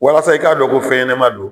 Walasa i k'a dɔ ko fɛn ɲɛnɛma don